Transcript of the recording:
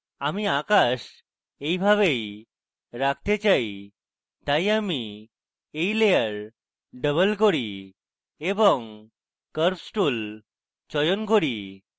আমি আকাশ এইভাবেই রাখতে চাই তাই আমি এই layer double করি এবং curves tool চয়ন করি